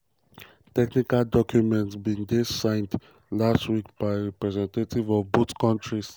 technical documents um bin dey signed um last week by representatives of both countries.